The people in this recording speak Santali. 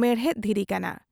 ᱢᱮᱬᱦᱮᱫ ᱫᱷᱤᱨᱤ ᱠᱟᱱᱟ ᱾